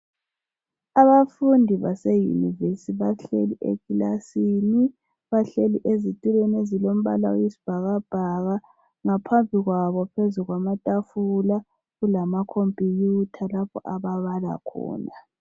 Abafundi baseyunivesithi bahleli ekilasini bahleli ezitulweni ezilombala wesibhakabhaka ngaphambi kwabo phezu kwamatafula kulama computer lapho ababala khona.